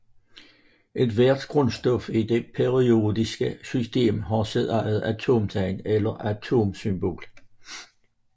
Ethvert grundstof i det periodiske system har sit eget atomtegn eller atomsymbol